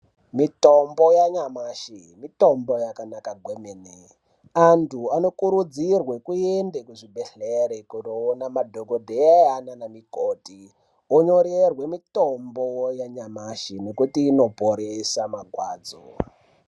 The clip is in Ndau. Mitombo yanyamashi mitombo yakanaka kwemene. Antu anokurudzirwe kuende kuzvibhedhlere kundoona madhokodheya nana mukoti. Vonyorerwe mitombo yanyamashi, nokuti inoporesa marwadzo.